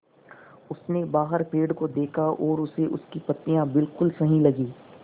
उसने बाहर पेड़ को देखा और उसे उसकी पत्तियाँ बिलकुल सही लगीं